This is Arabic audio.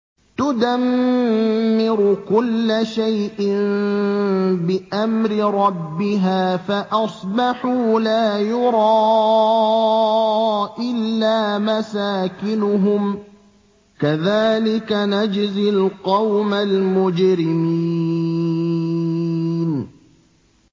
تُدَمِّرُ كُلَّ شَيْءٍ بِأَمْرِ رَبِّهَا فَأَصْبَحُوا لَا يُرَىٰ إِلَّا مَسَاكِنُهُمْ ۚ كَذَٰلِكَ نَجْزِي الْقَوْمَ الْمُجْرِمِينَ